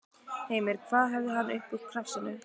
Heimir: Hvað hafði hann upp úr krafsinu?